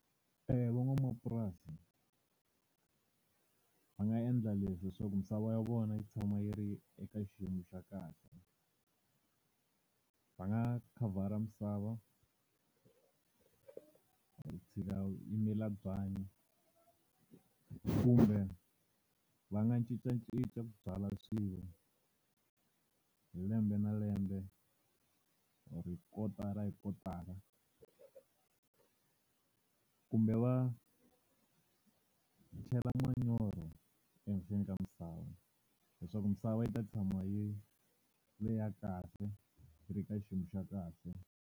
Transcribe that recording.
Van'wamapurasi, va nga endla leswi leswaku misava ya vona yi tshama yi ri eka xiyimo xa kahle. Va nga khavhara misava, yi mila byanyi. Kumbe va nga cincacinca ku byala swilo hi lembe na lembe o-ri kotara hi kotara kumbe va tlhela manyoro ehenhleni ka misava, leswaku misava yi ta tshama yi ri leyi ya kahle, yi ri ka xiyimo xa kahle.